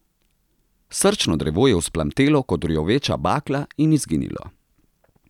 Srčno drevo je vzplamtelo kot rjoveča bakla in izginilo.